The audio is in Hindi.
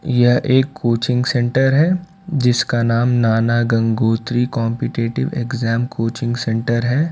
यह एक कोचिंग सेंटर है जिसका नाम Nana Gangotri competitive exam coaching centre हैं।